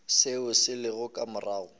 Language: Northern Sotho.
seo se lego ka morago